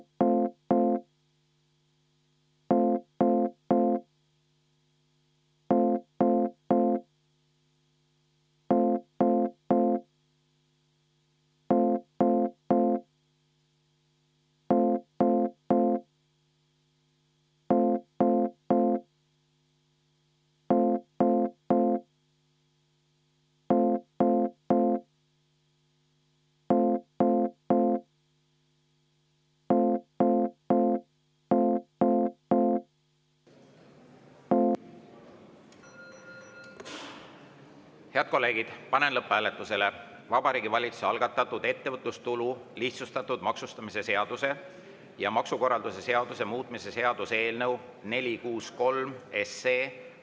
Head kolleegid, panen lõpphääletusele Vabariigi Valitsuse algatatud ettevõtlustulu lihtsustatud maksustamise seaduse ja maksukorralduse seaduse muutmise seaduse eelnõu 463.